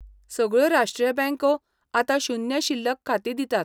सगळ्यो राष्ट्रीय बँको आतां शून्य शिल्लक खातीं दितात.